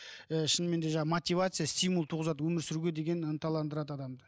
ы шынымен де жаңағы мотивация стимул туғызады өмір сүруге деген ынталаңдырады адамды